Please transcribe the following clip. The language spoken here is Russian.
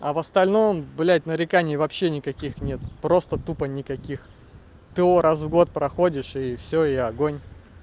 а в остальном блять нареканий вообще никаких нет просто тупо никаких т о раз в год проходишь и все и огонь